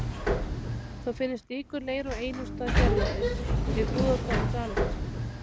Þó finnst slíkur leir á einum stað hérlendis, við Búðardal í Dalasýslu.